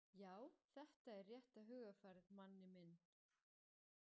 Já, þetta er rétta hugarfarið, Manni minn.